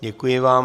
Děkuji vám.